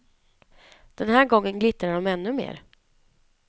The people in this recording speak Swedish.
Den här gången glittrar de ännu mer.